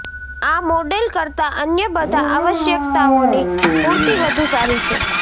આ મોડેલ કરતાં અન્ય બધા આવશ્યકતાઓની પૂર્તિ વધુ સારી છે